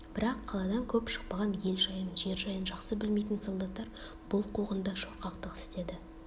бірақ қаладан көп шықпаған ел жайын жер жайын жақсы білмейтін солдаттар бұл қуғында шорқақтық істеді